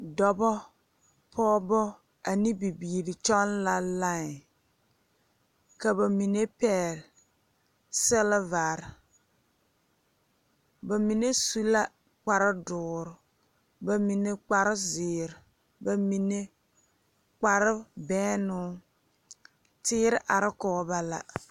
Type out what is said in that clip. Dɔɔba, pɔgeba ane bibiiri kyɔŋ la lae ka bamine pegle silebaare bamine su la kpare dooɔre bamine kpare ziiri bamine kpare bɛnnoo teere are kɔge ba la.